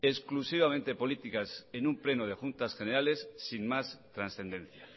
exclusivamente políticas en un pleno de juntas generales sin más trascendencia